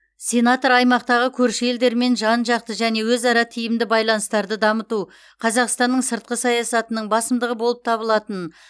сенатор аймақтағы көрші елдермен жан жақты және өзара тиімді байланыстарды дамыту қазақстанның сыртқы саясатының басымдығы болып табылатынын